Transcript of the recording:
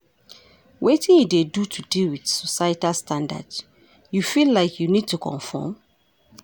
Wetin you dey do to deal with societal standards, you feel like you need to comform?